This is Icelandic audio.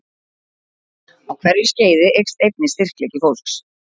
Á hverju skeiði eykst einnig styrkleiki fólks.